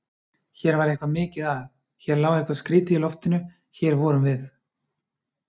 Hér var eitthvað mikið að, hér lá eitthvað skrýtið í loftinu- og hér vorum við.